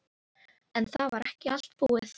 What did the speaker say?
En það var ekki allt búið.